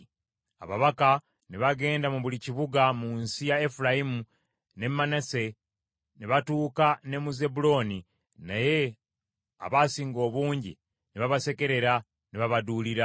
Ababaka ne bagenda mu buli kibuga mu nsi ya Efulayimu ne Manase, ne batuuka ne mu Zebbulooni, naye abasinga obungi ne babasekerera, ne babaduulira.